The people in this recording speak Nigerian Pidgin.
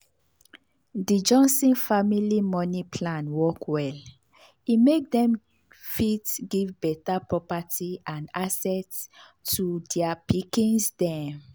di johnson family money plan work well e make dem fit give better property and assets to their pikins dem.